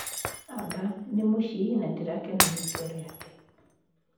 Aba nĩ mũcii na ndĩrakena nĩ itua rĩakwa